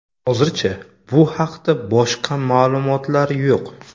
Hozircha bu haqda boshqa ma’lumotlar yo‘q.